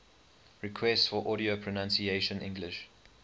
requests for audio pronunciation english